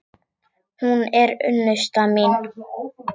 Hún er unnusta mín!